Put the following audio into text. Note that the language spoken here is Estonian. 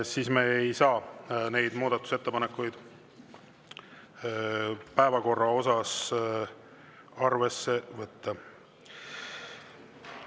Siis me ei saa neid muudatusettepanekuid päevakorra kohta arvesse võtta.